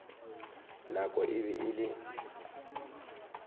nako e be e le